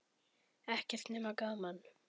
Ekkert nema gaman!